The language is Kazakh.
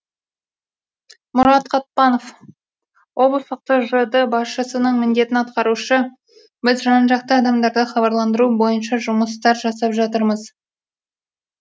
мұрат қатпанов облыстық тжд басшысының міндетін атқарушы біз жан жақты адамдарды хабарландыру бойынша жұмыстар жасап жатырмыз